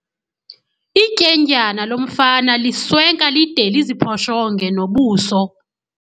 Ityendyana lomfana liswenka lide liziphoshonge nobuso.